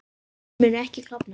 Vötnin munu ekki klofna